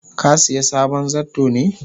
ka siya sabon zarto ne?